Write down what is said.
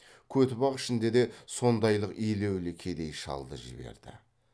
көтібақ ішінде де сондайлық елеулі кедей шалды жіберді